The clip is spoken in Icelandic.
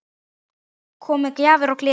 Kom með gjafir og gleði.